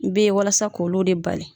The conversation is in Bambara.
U bɛ ye walasa k'olu de bali.